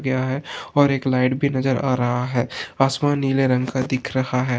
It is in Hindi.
यहाँ और एक लाइट भी नजर आ रहा है आसमान नीले रंग का दिख रहा है।